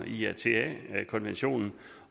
iata konventionen